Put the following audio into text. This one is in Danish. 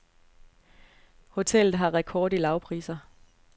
Hotellet har rekord i lavpriser.